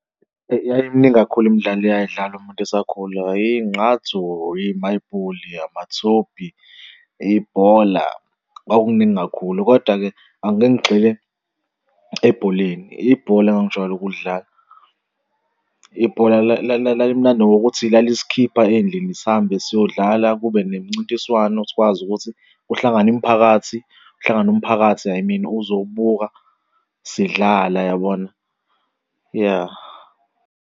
Eyi yayimningi kakhulu imidlalo eyayidlalwa umuntu esakhula. Ingqathu, imayibhuli, amathophi, ibhola kwakuningi kakhulu. Koda-ke angike ngigxile ebholeni, ibhola engijwayele ukulidlala. Ibhola lalimnandi ngokuthi lalisikhipha ey'ndlini, sihambe siyodlala kube nemincintiswano sikwazi ukuthi kuhlangane imiphakathi uhlangane umphakathi, I mean, uzobuka sidlala yabona? Ya.